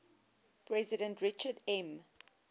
president richard m